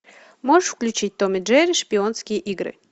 можешь включить том и джерри шпионские игры